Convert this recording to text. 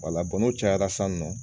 Wala bɔn n'o cayara san nɔ